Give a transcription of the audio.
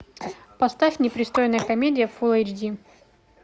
поставь непристойная комедия фул эйч ди